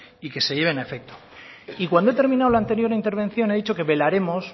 y que se lleven a efecto y cuando he terminado la anterior intervención he dicho que velaremos